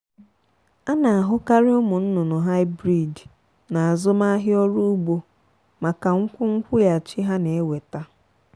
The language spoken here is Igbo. a na-ahukarị ụmụnnụnụ hybrid n'azụmahịa ọrụ ugbo maka nkwu nkwụghachị ha n-eweta.